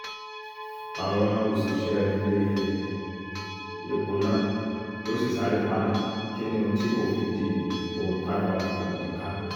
àwọn òṣìṣẹ́ ilée -èpò náà ló sì sáré paná kínní ohun tí kò fi di di ohun tágbára kò ní í ká